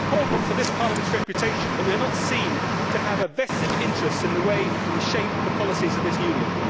It is important for this Parliament's reputation that we are not seen to have a vested interest in the way we shape the policies of this Union.